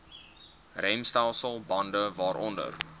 remstelsel bande waaronder